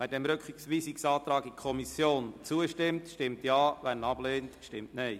Wer dem Rückweisungsantrag in die Kommission zustimmt, stimmt Ja, wer diesen ablehnt, stimmt Nein.